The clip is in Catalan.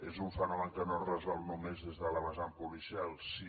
és un fenomen que no es resol només des de la vesant policial sí